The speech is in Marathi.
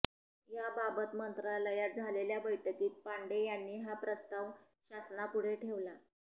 याबाबत मंत्रालयात झालेल्या बैठकीत पांडे यांनी हा प्रस्ताव शासनापुढे ठेवला